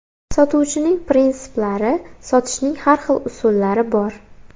Sotuvchining prinsiplari Sotishning har xil usullari bor.